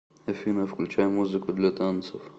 афина включай музыку для танцев